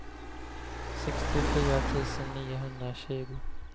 sextiofyra tusen niohundratjugo